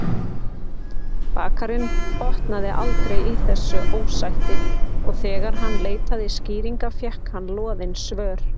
Bakarinn botnaði aldrei í þessu ósætti og þegar hann leitaði skýringa fékk hann loðin svör.